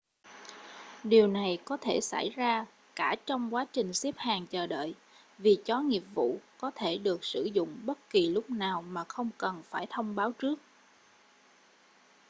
điều này có thể xảy ra cả trong quá trình xếp hàng chờ đợi vì chó nghiệp vụ có thể được sử dụng bất kỳ lúc nào mà không cần phải thông báo trước